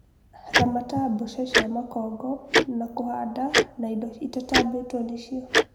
Ramata mbũca cia makongo na kũhanda na indo ĩtatambĩtwo nĩcio